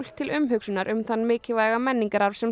til umhugsunar um þann mikilvæga menningararf sem